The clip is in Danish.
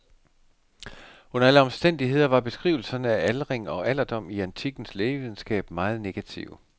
Under alle omstændigheder var beskrivelserne af aldring og alderdom i antikkens lægevidenskab meget negative.